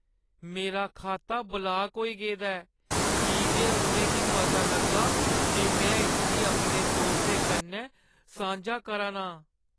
मेरा खाता ब्लाक होई गेदा ऐ की जे उʼनें गी पता लग्गा जे में इसगी अपने दोस्तें कन्नै सांझा करा ना आं।